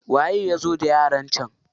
Waye ya zo da yaran can?